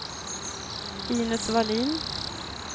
Inez Wallin